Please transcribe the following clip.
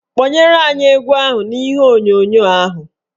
Kpọnyere anyị egwu n'ihe onyonyo ahụ